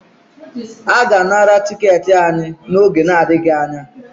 A ga-anara tiketi anyị n'oge na-adịghị anya